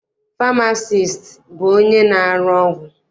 Famasiisti bụ onye na-arụ ọgwụ.